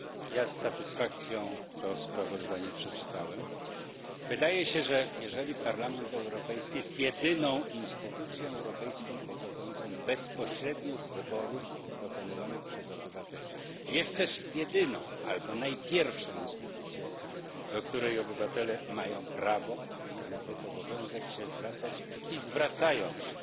Ja z satysfakcją to sprawozdanie przeczytałem. Wydaje się, że jeżeli Parlament Europejski jest jedyną instytucją europejską pochodzącą bezpośrednio z wyborów dokonywanych przez obywateli, jest też jedyną albo pierwszą instytucją, do której obywatele mają prawo, a nawet obowiązek, się zwracać i zwracają się.